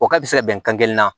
O ka bi se ka bɛn kan kelen na